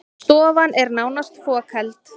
Stofan er nánast fokheld